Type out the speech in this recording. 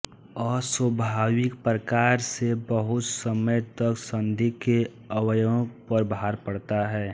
अस्वाभाविक प्रकार से बहुत समय तक संधि के अवयवों पर भार पड़ता है